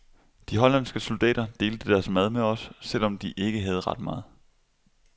De hollandske soldater delte deres mad med os, selv om de ikke havde ret meget.